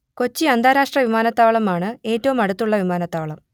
കൊച്ചി അന്താരാഷ്ട്ര വിമാനത്താവളം ആണ് ഏറ്റവും അടുത്തുള്ള വിമാനത്താവളം